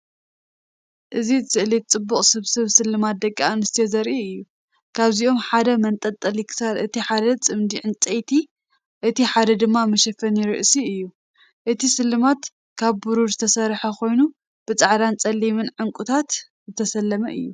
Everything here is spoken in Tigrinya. እዚ ስእሊ ጽቡቕ ስብስብ ስልማት ደቂ ኣንስትዮ ዘርኢ እዩ። ካብዚኦም ሓደ መንጠልጠሊ ክሳድ፡ እቲ ሓደ ጽምዲ ዕንጨይቲ፡ እቲ ሓደ ድማ መሸፈኒ ርእሲ እዩ። እቲ ስልማት ካብ ብሩር ዝተሰርሐ ኮይኑ ብጻዕዳን ጸሊምን ዕንቊታት ዝተሰለመ እዩ።